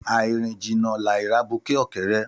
Àirín jínà làí ràbúkẹọkẹrẹ